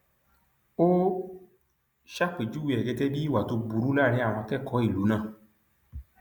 ó ṣàpèjúwe ẹ gẹgẹ bíi ìwà tó burú láàrin àwọn akẹkọọ ìlú náà